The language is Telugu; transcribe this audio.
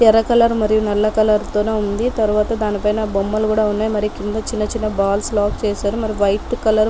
ఎర్ర కలర్ మరియు నల్ల కలర్ తొణి ఉంది తరువత దాని పైన బొమ్మలు కూడా ఉన్నాయి. మరి కింద చిన్న చిన్న బాల్స్ లాక్ చేశారు మరి వైట్ కలర్ --